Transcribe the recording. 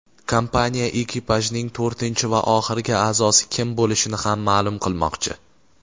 kompaniya ekipajning to‘rtinchi va oxirgi a’zosi kim bo‘lishini ham ma’lum qilmoqchi.